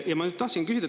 Ma tahtsin nüüd küsida.